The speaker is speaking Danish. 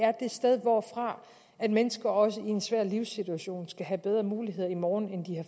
er det sted hvorfra mennesker også i en svær livssituation skal have bedre mulighed i morgen end